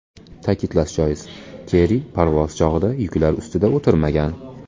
Ta’kidlash joiz, Kerri parvoz chog‘ida yuklar ustida o‘tirmagan.